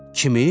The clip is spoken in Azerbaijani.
Kimi?